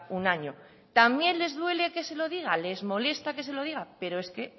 un año también les duele que se lo diga les molesta que se lo diga pero es que